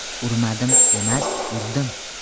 Urmadim emas, urdim.